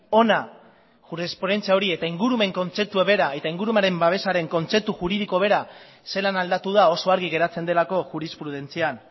hona jurisprudentzia hori eta ingurumen kontzeptua bera eta ingurumen babesaren kontzeptu juridiko bera zelan aldatu da oso argi geratzen delako jurisprudentzian